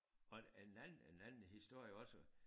Og en anden en anden historie også